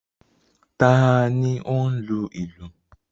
Ta ni ó ń lu ìlù?